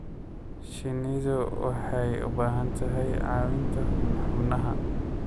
Shinnidu waxay u baahan tahay caawinta xubnaha.